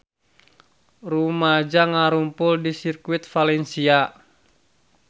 Rumaja ngarumpul di Sirkuit Valencia